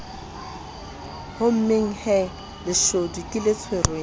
hommeng he leshodu ke le